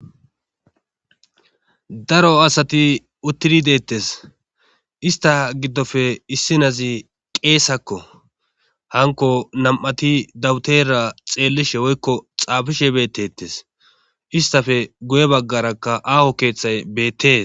Daro asati uttidi deettes .Ista giddoppe issi nazi qeesakko .Hanko nam'ati dawutera xeellishe woykko xaafishe bettettes. Istafe guye baggarakka aaho keeththay beettes.